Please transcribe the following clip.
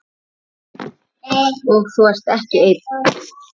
Og þú ert ekki einn.